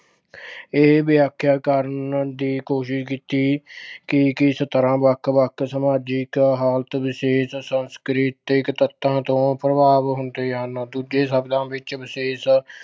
ਇਹ ਵਿਆਖਿਆ ਕਰਨ ਦੀ ਕੋਸ਼ਿਸ਼ ਕੀਤੀ ਕਿ ਕਿਸ ਤਰ੍ਹਾਂ ਵੱਖ-ਵੱਖ ਸਮਾਜਿਕ ਹਾਲਤ ਵਿਸ਼ੇਸ਼ ਸੰਸਕ੍ਰਿਤਿਕ ਤੱਤਾਂ ਤੋਂ ਪ੍ਰਭਾਵ ਹੁੰਦੇ ਹਨ। ਦੂਜੇ ਸ਼ਬਦਾਂ ਵਿੱਚ ਵਿਸ਼ੇਸ਼